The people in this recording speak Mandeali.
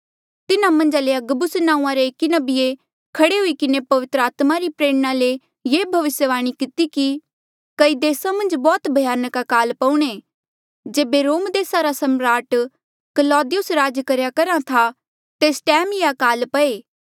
तिन्हा मन्झा ले अगबुस नांऊँआं रे एकी नबिये खड़े हुई किन्हें पवित्र आत्मा री प्रेरणा ले ये भविस्यवाणी किती कि कई देसा मन्झ बौह्त भयानक अकाल पऊणे जेबे रोम देसा रा सम्राट क्लौदियुस राज करेया करहा था तेस टैम ये अकाल पये